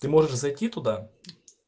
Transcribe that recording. ты можешь зайти туда